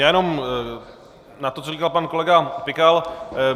Já jenom k tomu, co říkal pan kolega Pikal.